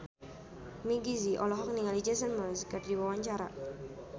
Meggie Z olohok ningali Jason Mraz keur diwawancara